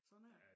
sådan er det